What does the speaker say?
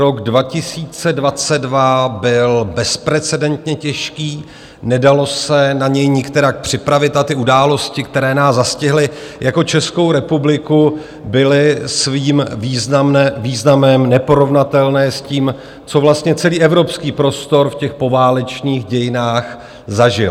Rok 2022 byl bezprecedentně těžký, nedalo se na něj nikterak připravit a ty události, která nás zastihly jako Českou republiku, byly svým významem neporovnatelné s tím, co vlastně celý evropský prostor v těch poválečných dějinách zažil.